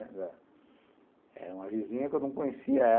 Era era uma vizinha que eu não conhecia.